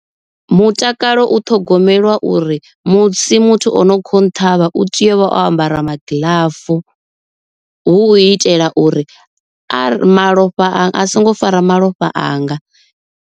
Mutakalo u ṱhogomelwa uri musi muthu o no kho nṱhavha u tea u vha o ambara magiḽafu, hu u itela uri a malofha a songo fara malofha anga.